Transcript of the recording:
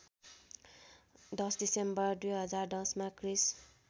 १० December २०१० मा क्रिस्